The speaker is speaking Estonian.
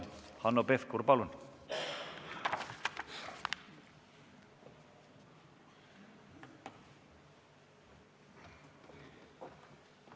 Hanno Pevkur, palun!